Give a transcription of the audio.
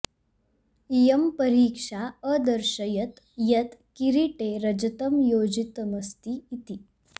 इयं परीक्षा अदर्शयत् यत् किरीटे रजतं योजितमस्ति इति